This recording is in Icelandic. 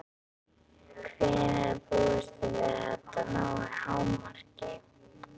Hvenær búist þið við að þetta nái hámarki?